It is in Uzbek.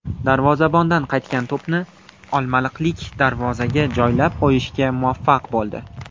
Darvozabondan qaytgan to‘pni olmaliqlik darvozaga joylab qo‘yishga muvaffaq bo‘ldi.